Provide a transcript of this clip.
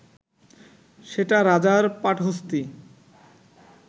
সেটা রাজার পাটহস্তী